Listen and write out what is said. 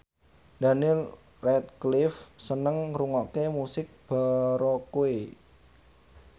Daniel Radcliffe seneng ngrungokne musik baroque